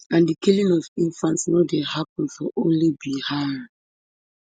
and di killing of infants no dey happun for only bihar